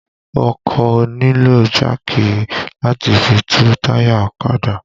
O kò nílò jáàkì láti fi tú táyà ọ̀kadà